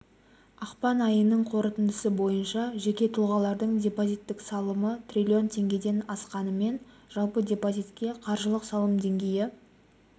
ақпан айының қорытындысы бойынша жеке тұлғалардың депозиттік салымы триллион теңгеден асқанымен жалпы депозитке қаржылық салым деңгейі